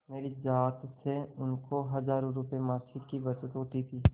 मेरी जात से उनको हजारों रुपयेमासिक की बचत होती थी